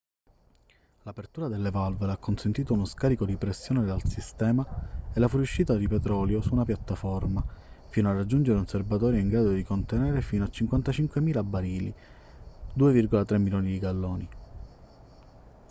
l'apertura delle valvole ha consentito uno scarico di pressione dal sistema e la fuoriuscita di petrolio su una piattaforma fino a raggiungere un serbatoio in grado di contenerne fino a 55.000 barili 2,3 milioni di galloni